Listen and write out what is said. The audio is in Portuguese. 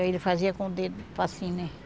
Aí ele fazia com o dedo assim, né?